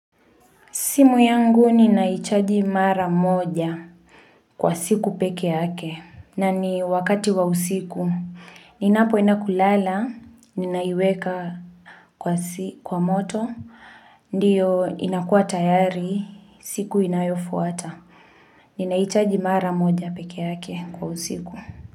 Simu yangu ninaichaji mara moja kwa siku peke yake na ni wakati wa usiku. Ninapo endakulala, ninaiweka kwa moto, ndiyo inakua tayari, siku inayofuata. Ninaichaji mara moja peke yake kwa usiku.